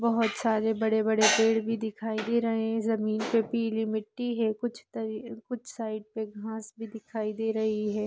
बहोत सारे बड़े बड़े पेड़ भी दिखाई दे रहे हैं जमीन पे पीली मिट्टी है कुछ साइड कुछ साइड मे घाँस भी दिखाई रही है।